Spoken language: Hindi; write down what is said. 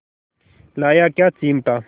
लाया क्या चिमटा